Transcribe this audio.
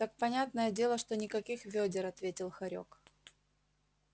понятное дело что никаких вёдер ответил хорёк